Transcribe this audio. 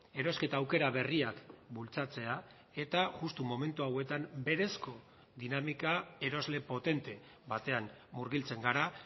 erosketa aukera berriak bultzatzea eta justu momentu hauetan berezko dinamika erosle potente batean murgiltzen gara